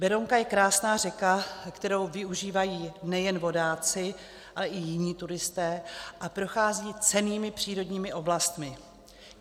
Berounka je krásná řeka, kterou využívají nejen vodáci, ale i jiní turisté, a prochází cennými přírodními oblastmi.